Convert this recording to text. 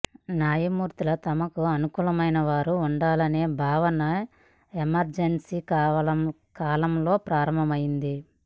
న్యాయమూర్తులు తమకు అనుకూలమైన వారుగా ఉండాలనే భావన ఎమర్జెన్సీ కాలంలో ప్రారంభమైంది